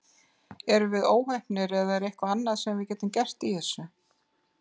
Erum við óheppnir eða er eitthvað annað sem við getum gert í þessu?